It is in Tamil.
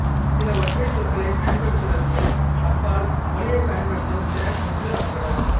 சில ஒற்றைச் சொற்களைப் பயன்படுத்துவதற்கு அப்பால் மொழியைப் பயன்படுத்தும் திறன் முற்றிலும் அற்றவர்